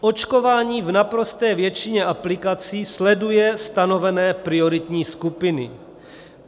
Očkování v naprosté většině aplikací sleduje stanovené prioritní skupiny.